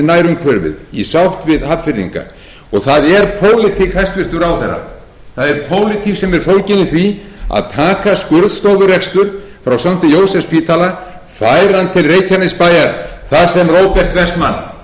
nærumhverfið í sátt við hafnfirðinga það er pólitík hæstvirtur ráðherra það er pólitík sem er fólgin í því að taka skurðstofurekstur frá st jósefsspítala færa hann til reykjanesbæjar þar sem róbert en man og aðrir fjárfestar biðu